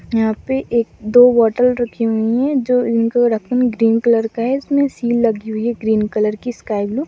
यहाँ पे एक दो बोत्तल रखी हुई है जो इनको रखा ग्रीन कलर का है इसमें सील लगी हुई है ग्रीन कलर की स्काई ब्लू ।